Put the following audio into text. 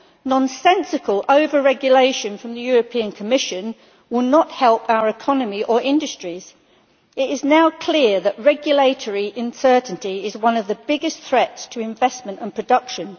Nonsensical over regulation from the European Commission will not help our economy or industries. It is now clear that regulatory uncertainty is one of the biggest threats to investment and production.